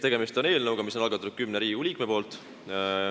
Tegemist on eelnõuga, mille on algatanud 10 Riigikogu liiget.